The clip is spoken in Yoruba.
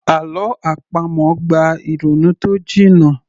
Àlọ́ àpamọ̀ gba ìrònú tó jiná